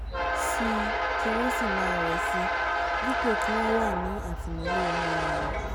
síi kí wọ́n sì máa rẹ̀ síi dípò kí wọ́n wà ní àtìmọ́lé ọmọ ènìà